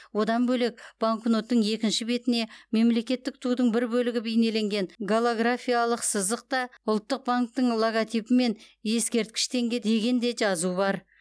одан бөлек банкноттың екінші бетіне мемлекеттік тудың бір бөлігі бейнеленген голографиялық сызық та ұлттық банктің логотипі мен ескерткіш теңге деген де жазу бар